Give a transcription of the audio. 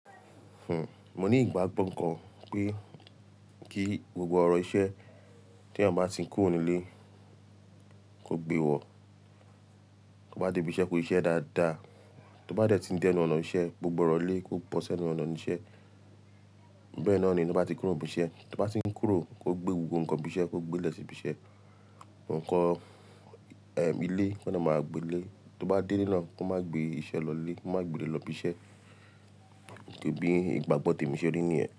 Hmm, mo ní ìgbàgbọ́ kan pé kí gbogbo ọ̀rọ̀ iṣẹ́ tí èèyàn bá ti ń kúrò nílé kó gbé wọ̀. Tó bá dé ibi iṣẹ́, kó ṣe iṣẹ́ dáadáa. Tó bá dẹ̀ tí ń dé inú ọ̀nà ìṣe, gbogbo ọ̀rọ̀ ilé kó bọ́sẹ́ nínú ọ̀nà ísẹ́. Bẹ́ẹ̀ náà ni bí ó bá ti ń kúrò ibi iṣẹ́, tó bá ti ń kúrò kó gbé gbogbo nǹkan ibi iṣẹ́ kó gbé lè sí ibi iṣẹ́, nǹkan ilé kó máa gbé lé. Tó bá dé ilé náà kó má gbé iṣẹ́ lọ ilé, kó má gbé ilé lọ ibi iṣẹ́. Bí ìgbàgbọ́ tèmi ṣe rí nìyẹn.